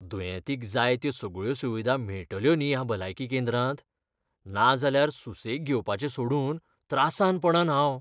दुयेंतींक जाय त्यो सगळ्यो सुविधा मेळटल्यो न्ही ह्या भलायकी केंद्रांत? नाजाल्यार सुसेग घेवपाचें सोडून त्रासांत पडन हांव.